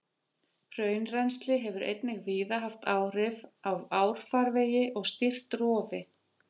Hraunrennsli hefur einnig víða haft áhrif á árfarvegi og stýrt rofi.